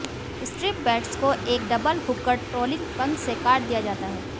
strip baits को एक double hooked trolling पंख से काट दिया जाता है